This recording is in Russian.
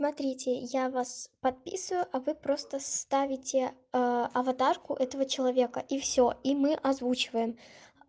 смотрите я вас подписываю а вы просто ставите аватарку этого человека и все и мы озвучиваем